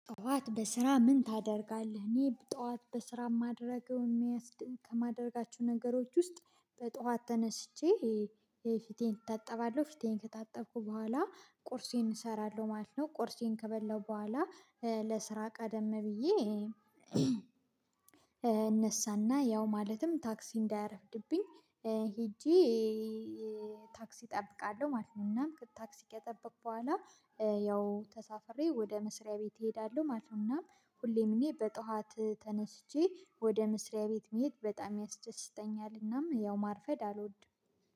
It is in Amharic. ጠዋት በስራ ምን ታደርጋለህ? እኔ ጠዋት በስራ ማድረግ የሚያስደ ከማደርጋቸው ነገሮች ውስጥ በጠዋት ተነስቼ እ እ ፊቴን እታጠባለሁ ፊቴን ከታጠብኩ በኋላ ቁርሴን እሰራለሁ ማለት ነው። ቆርሴን ከበላሁ በኋላ እ ለስራ ቀደም ብዬ እነሳና ያው ማለትም ታክሲ እንዳያረፍድብኝ ሄጄ እ ታክሲ እጠብቃለሁ ማለት ነው። እናም ታክሲ ከጠበቅኩ በኋላ እ ያው ተሳፍሬ ወደ መስሪያ ቤት እሄዳለሁ ማለት ነው። እናም ሁሌም እኔ በጧት ተነስቼ ወደ መስሪያ ቤት መሄድ በጣም ያስደስተኛልናም ያው ማርፈድ አልወድም።